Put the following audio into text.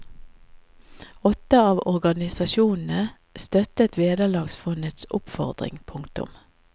Åtte av organisasjonene støttet vederlagsfondets oppfordring. punktum